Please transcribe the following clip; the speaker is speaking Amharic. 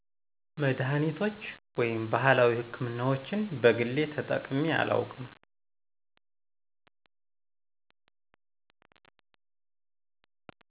መድሃኒቶች ወይም ባህላዊ ሕክምናዎችን በግሌ ተጠቅሜ አላውቅም።